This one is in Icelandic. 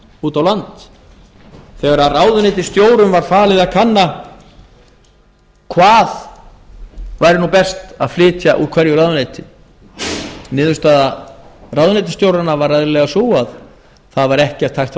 út á land þegar ráðuneytisstjórum var falið að kanna hvað væri nú best að flytja ár hverju ráðuneyti niðurstaða ráðuneytisstjóranna var eðlilega sú að það væri ekkert hægt frá